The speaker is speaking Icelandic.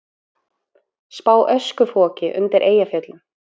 Spá öskufoki undir Eyjafjöllum